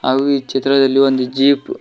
ಹಾಗೂ ಈ ಚಿತ್ರದಲ್ಲಿ ಒಂದು ಜೀಪ್ .